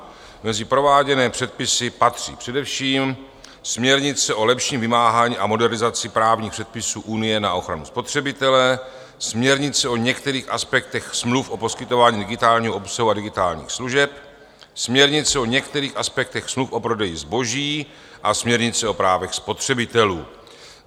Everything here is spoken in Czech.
Mezi prováděné předpisy patří především směrnice o lepším vymáhání a modernizaci právních předpisů Unie na ochranu spotřebitele, směrnice o některých aspektech smluv o poskytování digitálního obsahu a digitálních služeb, směrnice o některých aspektech smluv o prodeji zboží a směrnice o právech spotřebitelů.